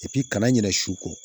kana ɲinɛ su kɔ